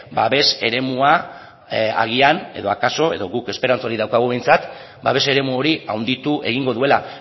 babes eremua agian edo akaso edo guk esperantza hori daukagu behintzat babes eremu hori handitu egingo duela